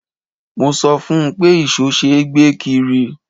Mo sọ fún un pé ìṣó ṣe é gbé kiri.